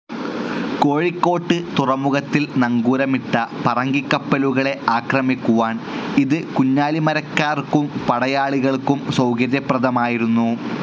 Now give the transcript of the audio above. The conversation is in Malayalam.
കോഴിക്കോട്ട് തുറമുഖത്തിൽ നങ്കൂരമിട്ട പറങ്കിക്കപ്പലുകളെ ആക്രമിക്കുവാൻ ഇത് കുഞ്ഞാലിമരയ്ക്കാർക്കും പടയാളികൾക്കും സൌകര്യപ്രദമായിരുന്നു.